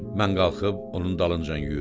Mən qalxıb onun dalınca yüyürdüm.